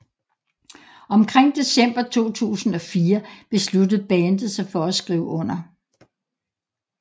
Omkring december 2004 besluttede bandet sig for at skrive under